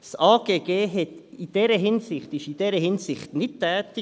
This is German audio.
Das AGG wurde in dieser Hinsicht nicht tätig.